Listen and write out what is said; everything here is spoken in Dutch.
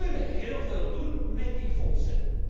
Wij kunnen heel veel doen met die fondsen.